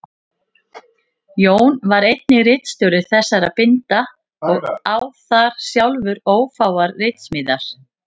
Jón var einnig ritstjóri þessara binda og á þar sjálfur ófáar ritsmíðar.